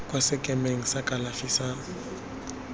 kwa sekemeng sa kalafi sa